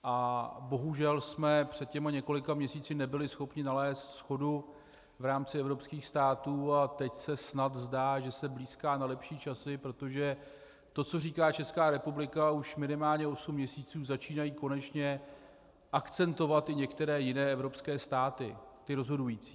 A bohužel jsme před těmi několika měsíci nebyli schopni nalézt shodu v rámci evropských států a teď se snad zdá, že se blýská na lepší časy, protože to, co říká Česká republika už minimálně osm měsíců, začínají konečně akcentovat i některé jiné evropské státy, ty rozhodující.